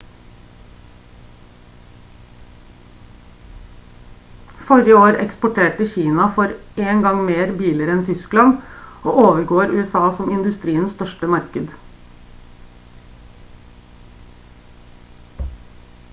forrige år eksporterte kina for 1. gang mer biler enn tyskland og overgår usa som industriens største marked